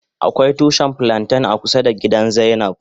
Akwai tushi flanten a kusa da gida zainab.